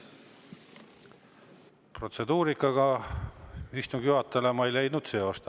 Protseduurikaga ma istungi juhatajana ei leidnud seost.